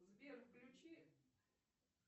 сбер включи